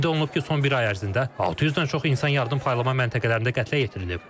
Qeyd olunub ki, son bir ay ərzində 600-dən çox insan yardım paylama məntəqələrində qətlə yetirilib.